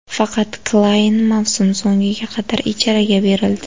Faqat Klayn mavsum so‘ngiga qadar ijaraga berildi.